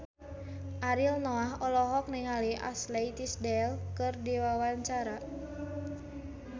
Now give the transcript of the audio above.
Ariel Noah olohok ningali Ashley Tisdale keur diwawancara